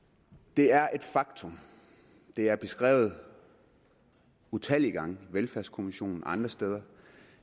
det er et faktum det er beskrevet utallige gange af velfærdskommissionen og